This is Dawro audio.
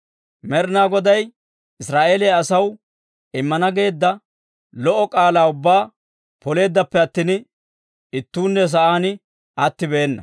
Med'ina Goday Israa'eeliyaa asaw immana geedda lo"o k'aalaa ubbaa poleeddappe attin ittuunne sa'aan attibeena.